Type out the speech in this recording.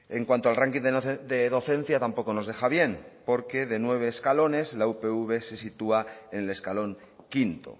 en cuanto al ranking de docencia tampoco nos deja bien porque de nueve escalones la upv se sitúa en el escalón quinto